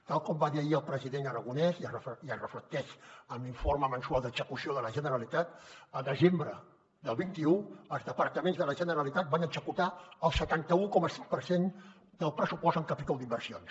tal com va dir ahir el president aragonès i es reflecteix en l’informe mensual d’execució de la generalitat el desembre del vint un els departaments de la generalitat van executar el setanta un coma set per cent del pressupost en capítol d’inversions